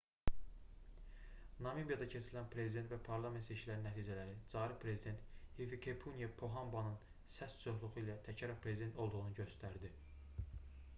namibiyada keçirilən prezident və parlament seçkilərinin nəticələri cari prezident hifikepunye pohambanın səs çoxluğu ilə təkrar prezident olduğunu göstərdi